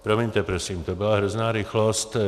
Promiňte prosím, to byla hrozná rychlost.